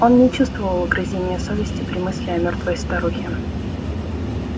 он не чувствовал угрызения совести при мысли о мёртвой старухе